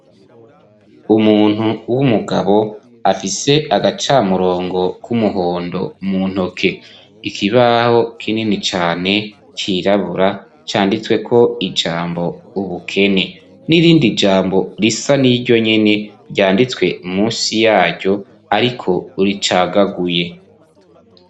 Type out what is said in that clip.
Umuntu w'umugabo afise agacamurongo k'umuhondo mu ntoke, ikibaho kinini cane cirabura canditsweko ijambo ubukene, nirindi jambo risa n'iryo nyene ryanditswe musi yaryo ariko ricagaguye.